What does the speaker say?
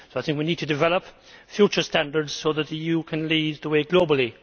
We now need to develop future standards so that the EU can lead the way globally.